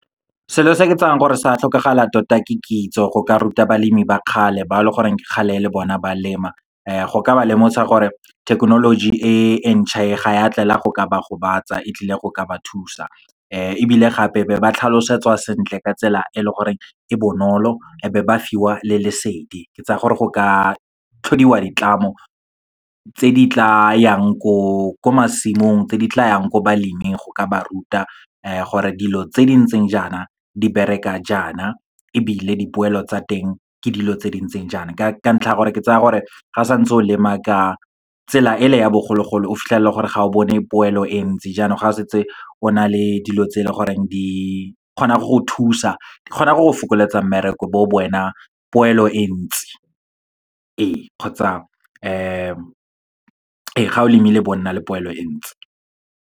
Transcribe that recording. Selo se ke tsayang gore sa tlhokagala tota, ke kitso. Go ka ruta balemi ba kgale, bao leng gore ke kgale e le bona ba lema, go ka ba lemosa gore thekenoloji e entšha e, ga ya tlela go ka ba gobatsa e tlile go ka ba thusa. Ebile gape, be ba tlhalosetswa sentle ka tsela e leng gore e bonolo, e be ba fiwa le lesedi. Ke tsa gore go ka tlhodiwa ditlamo, tse di tla yang ko masimong, tse di tla yang ko baleming, go ka ba ruta gore dilo tse di ntseng jaana di bereka jaana, ebile dipoelo tsa teng ke dilo tse di ntseng jaana. Ka ntlha ya gore, ke tsaya gore ga santse o lema ka tsela e le ya bogologolo o fitlhelela gore ga o bone poelo e ntsi, jaanong ga o setse o na le dilo tse leng goreng di kgona go go thusa, di kgona go go fokoletsa mmereko, bo poelo e ntsi. Ee, kgotsa ee ga o lemile bo nna le poelo e ntsi.